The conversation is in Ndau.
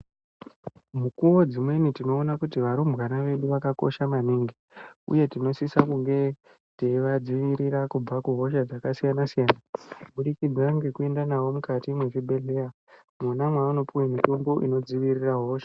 Mukuwo dzimweni tinoona kuti varumbwana vedu vakakosha maningi uye tinosisa kunge teiva dzivirira kubva ku hosha dzaka siyana siyana kubudikidza ngeku enda navo mukati me zvibhedhleya mona maano piwa mutombo ino dzivirira hosha.